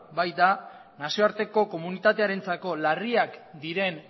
baita nazioarteko komunitatearentzako larriak diren